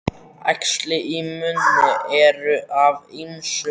Æxli í munni eru af ýmsum gerðum.